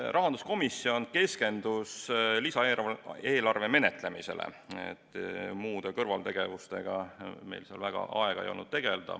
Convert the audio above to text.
Rahanduskomisjon keskendus lisaeelarve menetlemisele, muudeks kõrvaltegevusteks meil seal väga aega ei olnud.